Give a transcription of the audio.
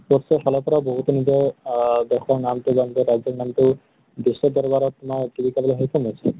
sports ৰ ফালৰ পৰাও বহুতে কিন্তু আ দেশৰ নামতো বা নিজৰ ৰাজ্য়ৰ নামতো বিশ্ব দৰ্বাৰত কৰিবলৈ সক্ষ্য়ম হৈছে।